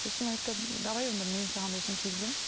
сосын айтты давай онда мен саған осыны кигіземін